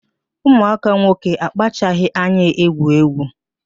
Ụmụaka nwoke akpachaghị anya egwu egwu